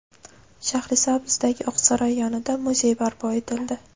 Shahrisabzdagi Oqsaroy yonida muzey barpo etildi.